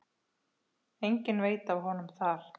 Enginn veit af honum þar.